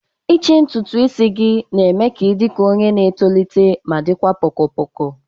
ichi ntutu isi gị na-eme ka ị dị ka onye na-etolite ma dịkwa poko poko